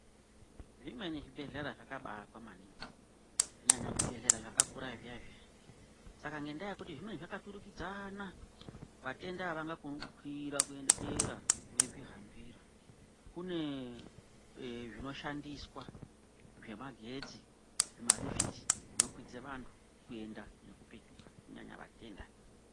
Zvimweni zvibhedhlera zvakabaakwa maningi, kunyanya zvibhedhlera zvakakura zviya-zviya. Saka ngendaa yekuti zvimweni zvakaturikidzaaana, vatenda avangakoni kukwira kuende dera veizvihambira. Kuneee zvinoshandiswa zvemagetsi zvimalifitsi zvinokwidze vanhu kuenda nekupetuka kunyanya vatenda.